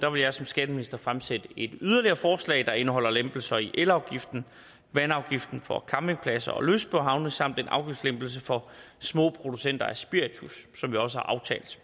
jeg som skatteminister fremsætte et yderligere forslag der indeholder lempelser i elafgiften og vandafgiften for campingpladser og lystbådehavne samt en afgiftslempelse for små producenter af spiritus som vi også har aftalt